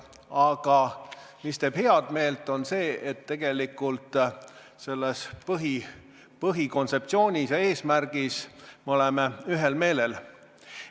Aga head meelt teeb see, et põhikontseptsioonis ja eesmärgis me oleme ühel meelel.